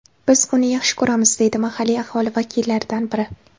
Biz uni yaxshi ko‘ramiz”, deydi mahalliy aholi vakillaridan biri.